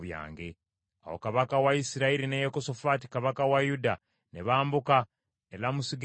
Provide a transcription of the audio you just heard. Awo kabaka wa Isirayiri ne Yekosafaati kabaka wa Yuda ne bambuka e Lamosugireyaadi.